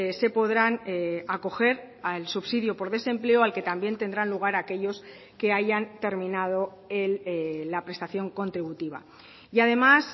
se podrán acoger al subsidio por desempleo al que también tendrán lugar aquellos que hayan terminado la prestación contributiva y además